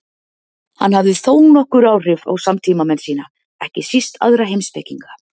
Hann hafði þónokkur áhrif á samtímamenn sína, ekki síst aðra heimspekinga.